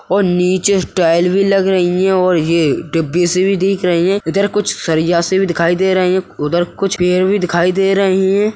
और नीचे स्टाईल भी लग रही है और यह डिब्बी से भी दिख रही है इधर कुछ सरिया से भी दिखाई दे रहे हैं उधर कुछ पेड़ भी दिखाई दे रहे हैं।